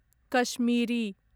Kashmiri